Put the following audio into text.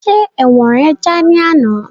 Ṣe ẹ̀wọ̀n rẹ já ní àná?